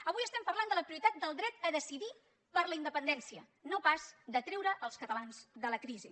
avui estem parlant de la prioritat del dret a decidir per la independència no pas de treure els catalans de la crisi